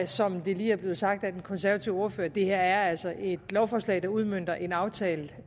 som det lige er blevet sagt af den konservative ordfører at det her altså er et lovforslag der udmønter en aftale